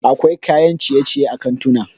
akwai kayan ciye-ciye a kantuna